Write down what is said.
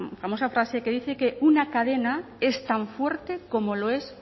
famosa frase que dice que una cadena es tan fuerte como lo es